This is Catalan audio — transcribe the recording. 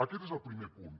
aquest és el primer punt